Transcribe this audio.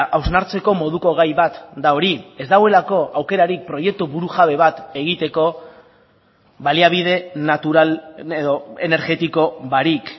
hausnartzeko moduko gai bat da hori ez dagoelako aukerarik proiektu burujabe bat egiteko baliabide natural edo energetiko barik